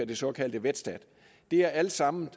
det såkaldte vetstat er alt sammen